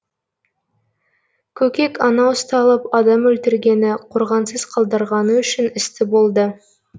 көкек ана ұсталып адам өлтіргені қорғансыз қалдырғаны үшін істі болды